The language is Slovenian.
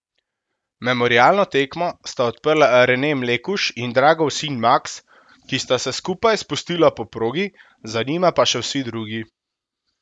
Memorialno tekmo sta odprla Rene Mlekuž in Dragov sin Maks, ki sta se skupaj spustila po progi, za njima pa še vsi drugi.